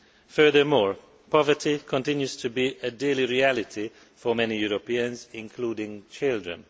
Furthermore, poverty continues to be a daily reality for many Europeans including children.